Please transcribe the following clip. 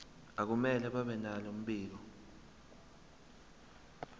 akumele babenalo mbiko